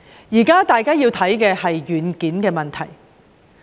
現時，大家要檢視的是軟件問題。